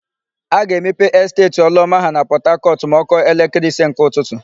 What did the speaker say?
A ga-emepe Esteeti Ọlụọma ha na Pọtakọtụ ma ọ kụọ elekere ise nke ụtụtụ.